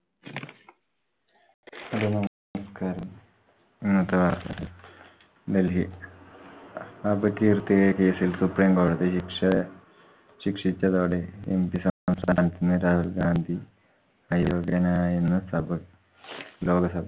ഇന്നത്തെ വാർത്ത. ഡൽഹി അപകീർത്തിയായ case ൽ സുപ്രീംകോടതി ശിക്~ ശിക്ഷിച്ചതോടെ MP സ്ഥാനത്തുനിന്ന് രാഹുൽ ഗാന്ധി അയോഗ്യനായെന്ന് സഭ ലോകസഭ